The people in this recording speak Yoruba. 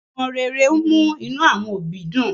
omó rè rè ń mú inú àwọn òbí dùn